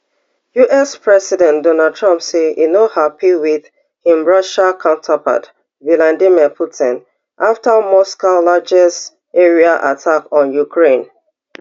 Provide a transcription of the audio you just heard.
us president donald trump say e no happy wit im russian counterpart vladimir putin after moscow largest aerial attack on ukraine